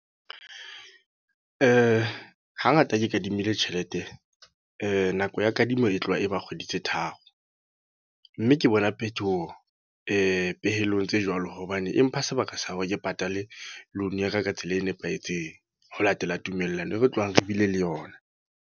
Hangata ke kadimile tjhelete. nako ya kadimo e tloha e ba kgwedi tse tharo. Mme ke bona phetoho pehelong tse jwalo. Hobane, e mpha sebaka sa hore ke patale loan yaka ka tsela e nepahetseng. Ho latela tumellano e re tlohang re bile le yona.